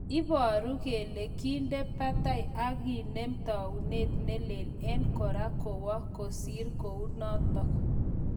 iparu kele kende patai ak kenom taunet nelel, en kora kowoo kosir kunotong